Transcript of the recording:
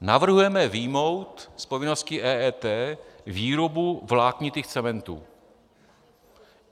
Navrhujeme vyjmout z povinnosti EET výrobu vláknitých cementů.